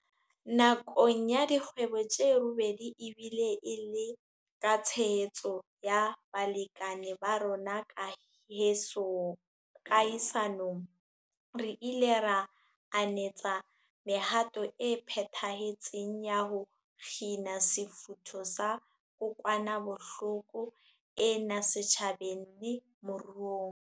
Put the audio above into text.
Nakong ya dikgwedi tse robedi, ebile e le ka tshehetso ya balekane ba rona kahisa nong, re ile ra anetsa mehato e phethahetseng ya ho kgina sefutho sa kokwanahloko ena setjhabeng le moruong.